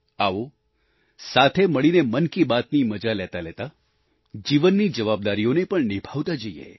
આવો સાથે મળીને મન કી બાત ની મજા લેતા લેતા જીવનની જવાબદારીઓને પણ નિભાવતા જઈએ